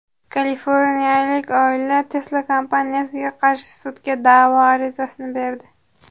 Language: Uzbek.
Kaliforniyalik oila Tesla kompaniyasiga qarshi sudga da’vo arizasini berdi.